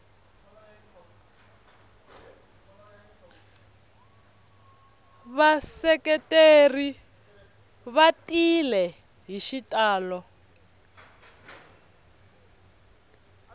vaseketeri va tile hi xitalo